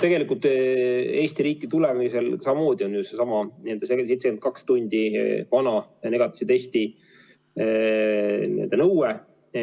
Tegelikult kehtib Eesti riiki tulemisel samamoodi see 72 tundi vana negatiivse testi nõue.